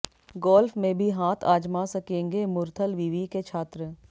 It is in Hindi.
गोल्फ में भी हाथ आजमा सकेंगे मुरथल विवि के छात्र